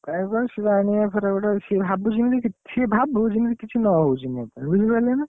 କାହିଁକି କହନି ସେ ଜାଣିବ ଫେରେ ଗୋଟେସିଏ ଭାବୁଛି ଯେମିତି କିଛି, ସିଏ ଭାବୁ ଯେମିତି କିଛି ନ ହଉଛି ମୋ ପାଇଁ ବୁଝି ପାଇଲେ ନା?